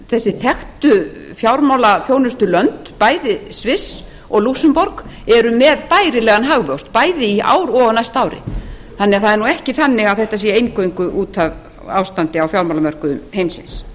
þessi þekktu fjármálaþjónustulönd bæði sviss og lúxemborg eru með bærilegan hagvöxt bæði í ár og á næsta ári þannig að það er ekki þannig að þetta sé eingöngu út af fjármálamörkuðum heimsins